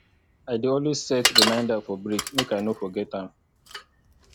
i dey always set remainder for break make i no forget am